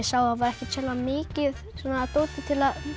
var ekkert sérlega mikið af dóti til að